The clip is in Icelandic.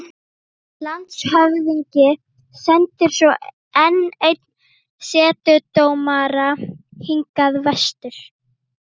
Landshöfðingi sendir svo enn einn setudómara hingað vestur.